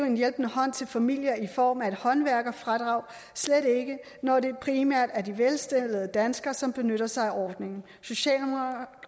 en hjælpende hånd til familier i form af et håndværkerfradrag slet ikke når det primært er de velstillede danskere som benytter sig af ordningen